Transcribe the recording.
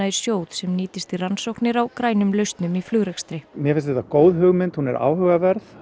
sjóð sem nýtist í rannsóknir á grænum lausnum í flugrekstri mér finnst þetta góð hugmynd hún er áhugaverð